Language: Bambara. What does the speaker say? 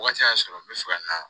Wagati y'a sɔrɔ n bɛ fɛ ka na